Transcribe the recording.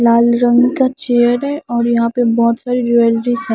लाल रंग का चेयर है और यहाँ पे बहोत सारी ज्वेलरीज हैं।